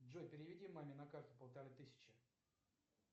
джой переведи маме на карту полторы тысячи